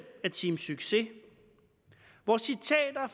af team succes hvor citater af